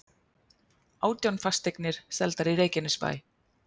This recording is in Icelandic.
Átján fasteignir seldar í Reykjanesbæ